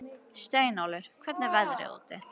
Steinólfur, hvernig er veðrið úti?